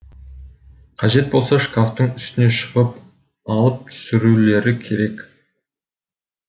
қажет болса шкафтың үстіне шығып алып түсірулері керек